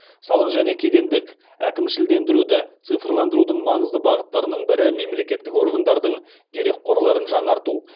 салық және кедендік әкімшілендіруді цифрландырудың маңызды бағыттарының бірі мемлекеттік органдардың дерекқорларын жаңарту